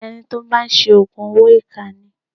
Ẹni tí ó bá ń ṣe Ògùn owó ìkà ni.